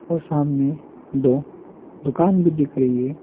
और सामने दो दुकान भी दिख रही है।